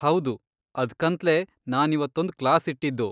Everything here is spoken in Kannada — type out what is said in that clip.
ಹೌದು, ಅದ್ಕಂತ್ಲೇ ನಾನಿವತ್ತೊಂದ್ ಕ್ಲಾಸ್ ಇಟ್ಟಿದ್ದು.